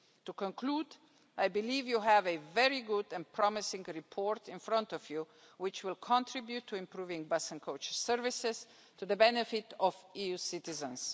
To conclude, I believe you have a very good and promising report in front of you, which will contribute to improving bus and coach services to the benefit of EU citizens.